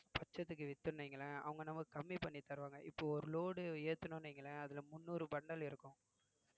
பச்சத்துக்கு வித்தோம்னு வைங்களேன் அவுங்க நமக்கு கம்மி பண்ணி தருவாங்க இப்ப ஒரு load ஏத்தணும்ன்னு வைங்களேன் அதுல முந்நூறு bundle இருக்கும்